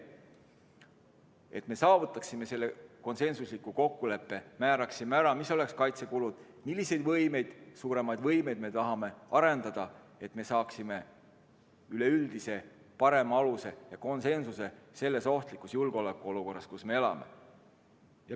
Meil tuleb saavutada see konsensuslik kokkulepe, määrata kindlaks, mis oleksid kaitsekulud, milliseid suuremaid võimeid me tahame arendada, et me saaksime üleüldise parema aluse ja konsensuse selles ohtlikus julgeolekuolukorras, kus me elame.